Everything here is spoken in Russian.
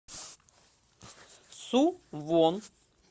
сувон